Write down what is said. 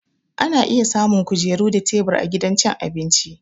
Ana samun kujeru da tebur a gidan cin abinci